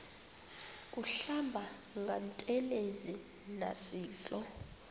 kuhlamba ngantelezi nasidlo